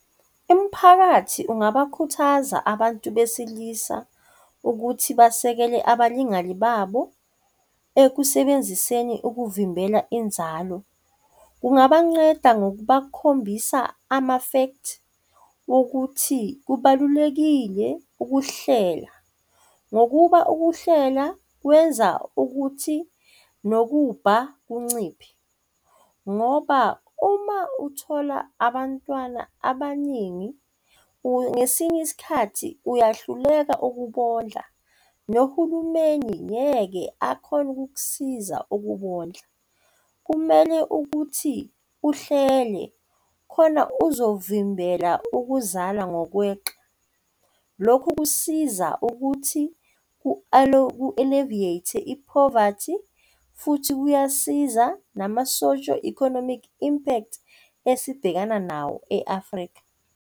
Imiphakathi ungabakhuthaza abantu besilisa ukuthi basekele abalingani babo ekusebenziseni ukuvimbela inzalo. Kunganceda ngokubakhombisa ama-fact wokuthi kubalulekile ukuhlela ngokuba ukuhlela kwenza ukuthi nobubha bunciphe ngoba uma uthola abantwana abaningi ngesinye isikhathi uyahluleka ukubondla nohulumeni ngeke akhone ukukusiza ukubondla. Kumele ukuthi uhlele khona uzovimbela ukuzala ngokweqa. Lokhu kusiza ukuthi ku-alleviate-e i-poverty, kanti futhi kuyasiza nama-socio economic impact esibhekana nawo e-Afrika.